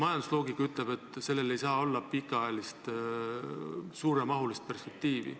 Majandusloogika ütleb, et sellel ei saa olla pikaajalist suuremahulist perspektiivi.